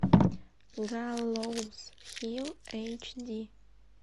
галлоуз хилл эйч ди